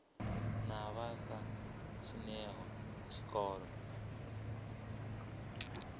na vha sa dzheniho tshikolo